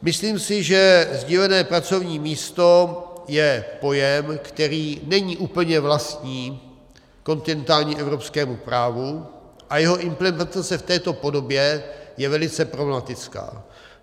Myslím si, že sdílené pracovní místo je pojem, který není úplně vlastní kontinentálnímu evropskému právu, a jeho implementace v této podobě je velice problematická.